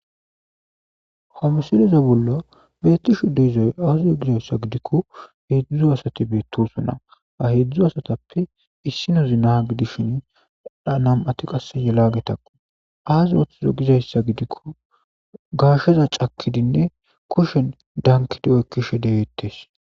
ho misileza bollo beettishu deizoy auzizo gizayssa gidikko heedzdzu asati beettosunna a heedzdzu asatappe issinozina gidishin dhanam7ati qasse yelagetakku aaz oothizo gizayssa gidikko gaasheza cakidinne kushen dankidi oy kishe degeettes